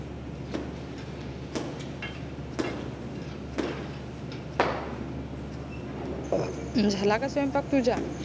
झाला का स्वयंपाक तुझा?